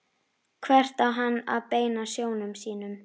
Hvert á hann að beina sjónum sínum?